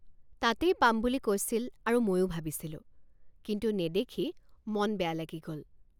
তাতেই পাম বুলি কৈছিল আৰু ময়ো ভাবিছিলোঁ কিন্তু নেদেখি মন বেয়া লাগি গল।